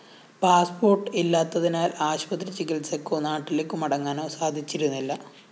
passport ഇല്ലാത്തതിനാല്‍ ആശുപത്രിചികിത്സയ്‌ക്കോ നാട്ടിലേക്കു മടങ്ങാനോ സാധിച്ചിരുന്നില്ല